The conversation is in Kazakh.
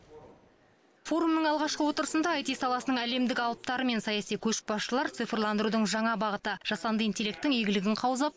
форумның алғашқы отырысында аити саласының әлемдік алыптары мен саяси көшбасшылар цифрландырудың жаңа бағыты жасанды интелектің игілігін қаузап